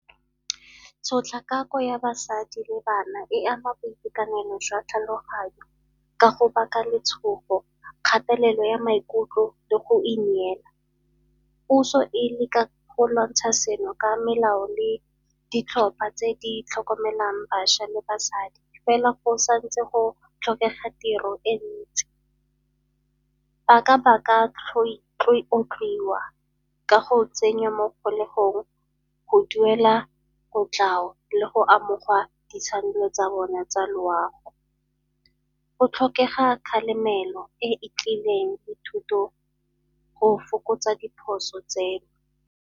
Tshotlakako ya basadi le bana e ama boitekanelo jwa tlhaloganyo ka go baka letshogo, kgatelelo ya maikutlo le go ineela. Puso e leka go lwantsha seno ka melao le ditlhopha tse di tlhokomelang bašwa le basadi fela go sa ntse go tlhokega tiro e ntsi. Ba ka baka ka go tsenywa mo kgolegong, go duela kotlhao le go amogwa ditshwanelo tsa bona tsa loago. Go tlhokega kgalemelo e e tlileng le thuto go fokotsa diphoso tseno.